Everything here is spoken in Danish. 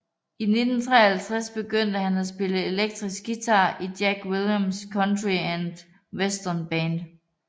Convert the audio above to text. I 1953 begyndte han at spille elektrisk guitar i Jack Williams Country and Western Band